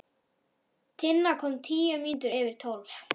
Tinna kom tíu mínútur yfir tólf.